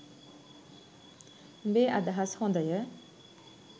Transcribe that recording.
උඹේ අදහස් හොඳය